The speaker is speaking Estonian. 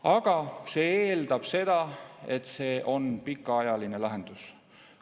Aga see eeldab seda, et see on pikaajaline lahendus.